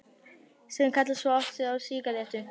Sem kalla svo aftur á sígarettu.